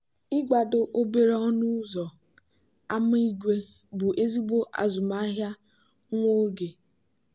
ịgba ụlọ ahịa ịkụ nzọ na-enye ụmụ okorobịa ole na ole ego ha ga-enweta.